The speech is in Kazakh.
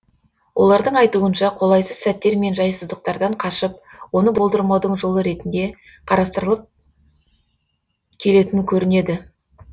олардың айтуынша қолайсыз сәттер мен жайсыздықтардан қашып оны болдырмаудың жолы ретінде қарастырылып келетін көрінеді